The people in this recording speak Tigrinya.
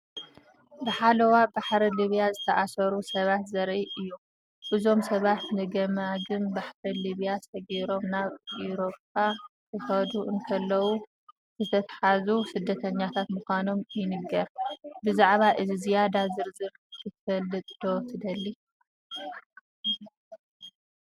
ብሓለዋ ባሕሪ ሊብያ ዝተኣስሩ ሰባት ዘርኢ እዩ። እዞም ሰባት ንገማግም ባሕሪ ሊብያ ሰጊሮም ናብ ኤውሮጳ ክኸዱ እንከለዉ ዝተታሕዙ ስደተኛታት ምዃኖም ይንገር። ብዛዕባ እዚ ዝያዳ ዝርዝር ክትፈልጥ ዶ ትደሊ?